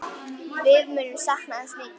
Við munum sakna hans mikið.